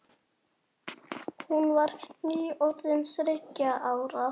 Hún var nýorðin þriggja ára.